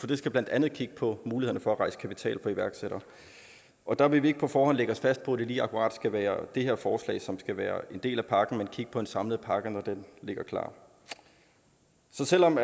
de skal blandt andet kigge på mulighederne for at rejse kapital for iværksættere og der vil vi ikke på forhånd lægge os fast på at det lige akkurat skal være det her forslag som skal være en del af pakken men kigge på en samlet pakke når den ligger klar så selv om